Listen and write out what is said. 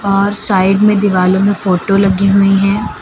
वहां साइड में दिवालों में फोटो लगी हुई है।